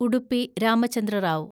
Udupi Ramachandra Rao